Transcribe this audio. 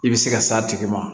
I bɛ se ka s'a tigi ma